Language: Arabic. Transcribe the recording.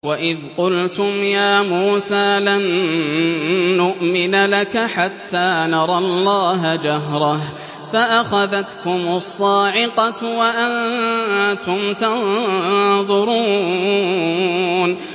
وَإِذْ قُلْتُمْ يَا مُوسَىٰ لَن نُّؤْمِنَ لَكَ حَتَّىٰ نَرَى اللَّهَ جَهْرَةً فَأَخَذَتْكُمُ الصَّاعِقَةُ وَأَنتُمْ تَنظُرُونَ